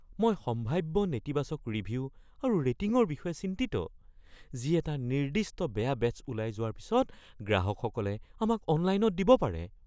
মই সম্ভাৱ্য নেতিবাচক ৰিভিউ আৰু ৰেটিংৰ বিষয়ে চিন্তিত যি এটা নিৰ্দিষ্ট বেয়া বেটছ ওলাই যোৱাৰ পিছত গ্ৰাহকসকলে আমাক অনলাইনত দিব পাৰে।